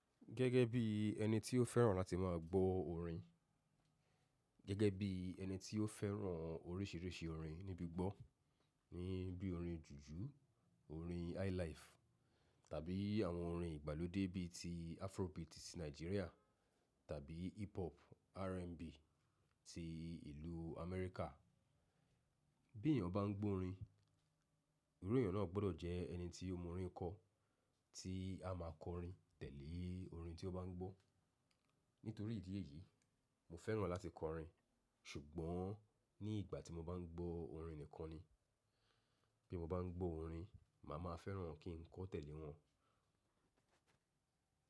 Gẹ́gẹ́ bí ẹni tí ó fẹ́ràn láti máa gbọ́ orin, gẹ́gẹ́ bí ẹni tí ó fẹ́ràn oríṣìíríṣìí orin nígbigbọ́, ní bí orin jùjú, orin highlife, tàbí àwọn orin ìgbàlódé bí i ti Afrobeat ti Nigeria tàbí hiphop, R&B ti ìlú America. Bí èèyàn bá ń gbọ́ orin, ìru èèyàn náà gbọ́dọ̀ jẹ́ ẹni tí ó mọ orin kọ, tí a máa kọ orin tẹ̀lé orin tí ó bá ń gbọ́. Nítorí ìdí èyí, mo fẹ́ràn láti kọ orin, ṣùgbọ́n ní ìgbà tí mo bá ń gbọ́ orin nìkan ni. Bí mo bá ń gbọ́ orin, màá ma fẹ́ràn kí n kọ tẹ̀lé wọn.